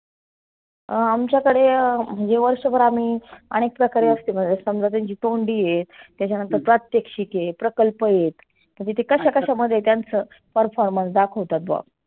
अं आमच्याकड म्हणजे वर्षभर आम्ही आनेक प्रकारे असते. समजा त्यांची तोंडी हे, त्याच्यानंतर प्रात्येक्षीक हे, प्रकल्प हेत तर ते कशा कशा मध्ये त्यांच performance दाखवता बुआ.